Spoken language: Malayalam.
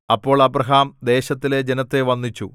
അപ്പോൾ അബ്രാഹാം ദേശത്തിലെ ജനത്തെ വന്ദിച്ചു